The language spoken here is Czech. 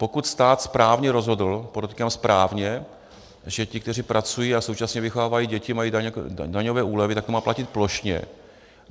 Pokud stát správně rozhodl, podotýkám správně, že ti, kteří pracují a současně vychovávají děti, mají daňové úlevy, tak to má platit plošně.